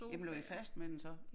Jamen lå i fast med den så?